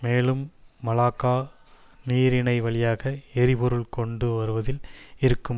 மேலும் மலாக்கா நீரிணை வழியாக எரிபொருட்கள் கொண்டு வருவதில் இருக்கும்